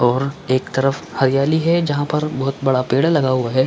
और एक तरफ हरियाली है जहाँ पर बहुत बड़ा पेड़ लगा हुआ है।